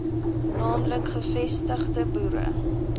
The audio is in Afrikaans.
naamlik gevestigde boere